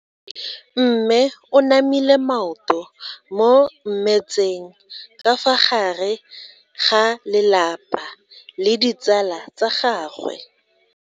Mme o namile maoto mo mmetseng ka fa gare ga lelapa le ditsala tsa gagwe.